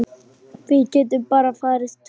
Við getum bara farið tvö.